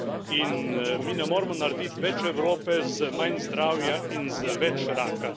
In mi ne moremo narediti več Evrope z manj zdravja in z več raka.